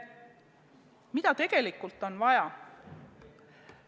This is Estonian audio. Mida tegelikult on vaja?